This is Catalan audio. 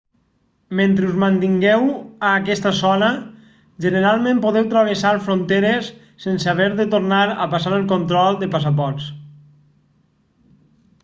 mentre us mantingueu a aquesta zona generalment podeu travessar fronteres sense haver de tornar a passar el control de passaports